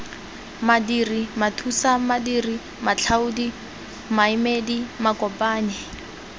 madiri mathusamadiri matlhaodi maemedi makopanyi